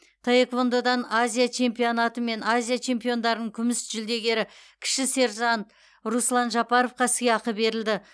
таеквондодан азия чемпионаты мен азия чемпиондарының күміс жүлдегері кіші сержант руслан жапаровқа сыйақы берілді